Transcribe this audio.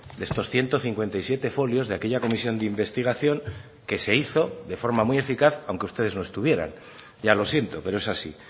de estos ciento cincuenta y siete folios de aquella comisión de investigación que se hizo de forma muy eficaz aunque ustedes no estuvieran ya lo siento pero es así